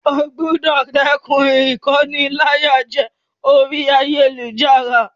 O gbúdọ̀ dẹ́kun ìkóniláyàjẹ orí ayélujára.